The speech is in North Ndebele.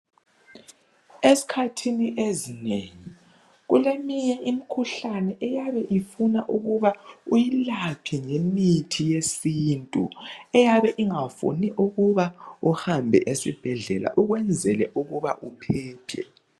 Ezikhathini ezinengi kuleminye imikhuhlane eyabe ifuna ukuba uyilaphe ngemithi yesintu eyabe ingafuni ukuba uhambe esibhedlela ukwenzela ukuba uphephe.